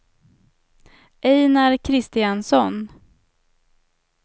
Ejnar Kristiansson